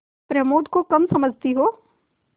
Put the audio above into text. प्रमोद को कम समझती हो